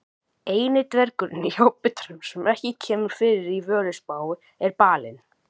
Eini dvergurinn í Hobbitanum sem ekki kemur fyrir í Völuspá er Balinn.